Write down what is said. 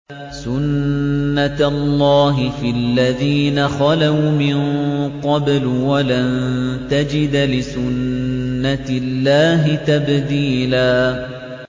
سُنَّةَ اللَّهِ فِي الَّذِينَ خَلَوْا مِن قَبْلُ ۖ وَلَن تَجِدَ لِسُنَّةِ اللَّهِ تَبْدِيلًا